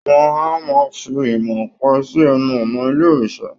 Wọn a máa fi imọ̀ ọ̀pẹ sí ẹnu ọ̀nà ilé òrìṣà